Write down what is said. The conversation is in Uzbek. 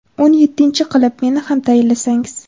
o‘n yettinchisi qilib meni ham tayinlasangiz.